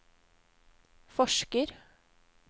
forsker